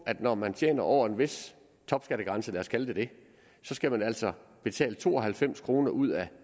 at når man tjener over en vis topskattegrænse lad os kalde det det så skal man altså betale to og halvfems kroner ud af